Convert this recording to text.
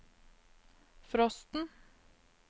frosten